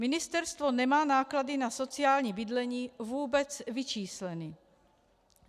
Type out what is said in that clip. Ministerstvo nemá náklady na sociální bydlení vůbec vyčísleny.